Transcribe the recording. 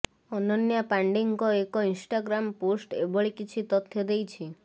ଅନନ୍ୟା ପାଣ୍ଡେଙ୍କ ଏକ Instagram post ଏଭଳି କିଛି ତଥ୍ୟ ଦେଇଛି